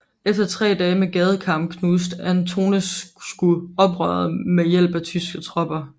Efter tre dage med gadekampe knuste Antonescu oprøret med hjælp af tyske tropper